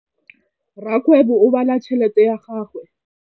Rakgwêbô o bala tšheletê ya gagwe.